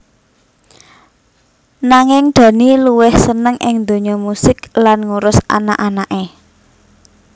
Nanging Dhani luwih seneng ing dunya musik lan ngurus anak anaké